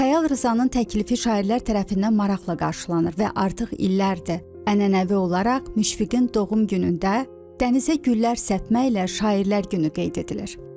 Xəyal Rzanın təklifi şairlər tərəfindən maraqla qarşılanır və artıq illərdir, ənənəvi olaraq Müşfiqin doğum günündə dənizə güllər səpməklə şairlər günü qeyd edilir.